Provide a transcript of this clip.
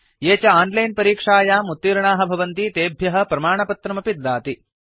ये च आनलैन परीक्षायाम् उत्तीर्णाः भवन्ति तेभ्यः प्रमाणपत्रमपि ददाति